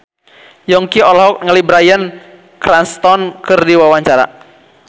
Yongki olohok ningali Bryan Cranston keur diwawancara